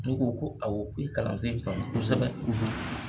Dow ko ko awɔ ku ye kalansen kanu kosɛbɛ;